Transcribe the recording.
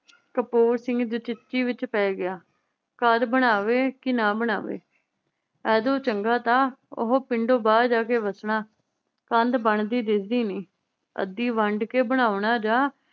ਕਪੂਰ ਸਿੰਘ ਵਿਚ ਪੈ ਗਿਆ ਘਰ ਬਣਾਵੇ ਕਿ ਨਾ ਬਣਾਵੇ। ਏਦੋਂ ਚੰਗਾ ਤਾਂ ਉਹ ਪਿੰਡੋਂ ਬਾਹਰ ਜਾ ਕੇ ਵੱਸਣਾ। ਕੰਧ ਬਣਦੀ ਦਿੱਸਦੀ ਨੀ। ਅੱਧੀ ਵੰਡ ਕੇ ਬਣਾਉਣਾ ਜਾ